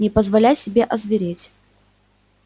не позволяй себе озвереть